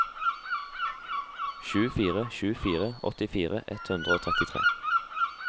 sju fire sju fire åttifire ett hundre og trettitre